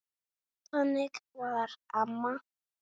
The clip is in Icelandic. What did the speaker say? Þannig var amma.